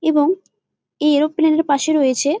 এবং এই এরোপ্লেন -এর পাশে রয়েছে--